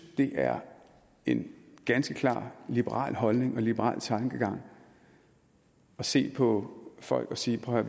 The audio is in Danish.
det er en ganske klar liberal holdning og liberal tankegang at se på folk og sige prøv